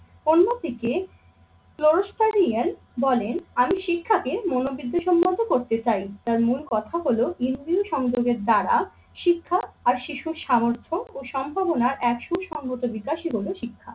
অন্যদিকে পুরস্কারিয়ান বলেন আমি শিক্ষাকে মনোবিদ্য সম্মত করতে চাই। তার মূল কথা হল ইন্দ্রিয় সংযোগের দ্বারা শিক্ষা আর শিশুর সামর্থ্য ও সম্ভাবনার একশো সংগত বিকাশই হলো শিক্ষা।